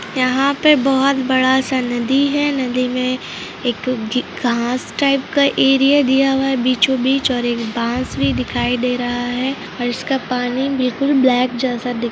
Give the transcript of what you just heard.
यहा पे बहोत बड़ा सा नदी है नदी में एक घास टाइप का एरिया दिया हुआ है बीचों बीच ओर एक बास भी दिखाई दे रहा है और इसका पानी बिल्कुल ब्लैक जैसा दिख रहा है ।